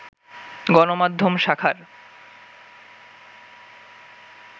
গণমাধ্যম শাখার